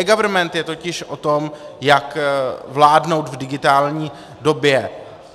eGovernment je totiž o tom, jak vládnout v digitální době.